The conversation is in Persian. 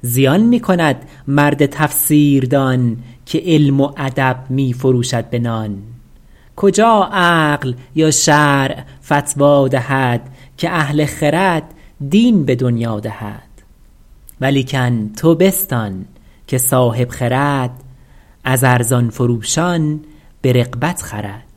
زیان می کند مرد تفسیر دان که علم و ادب می فروشد به نان کجا عقل یا شرع فتوی دهد که اهل خرد دین به دنیا دهد ولیکن تو بستان که صاحب خرد از ارزان فروشان به رغبت خرد